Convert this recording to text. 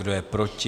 Kdo je proti?